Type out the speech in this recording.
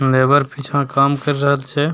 Labour पीछा काम कर रहल छै ।